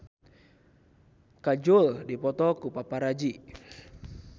Kajol dipoto ku paparazi